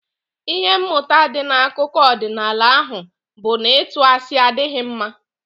Ihe mmụta dị n'akụkọ ọdịnaala ahụ bụ na ịtụ asị adịghị mma.